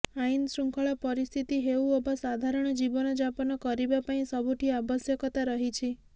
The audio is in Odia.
ଆଇନ ଶୃଙ୍ଖଳା ପରିସ୍ଥିତି ହେଉ ଅବା ସାଧାରଣ ଜୀବନ ଯାପନ କରିବାପାଇଁ ସବୁଠି ଆବଶ୍ୟକତା ରହିଛି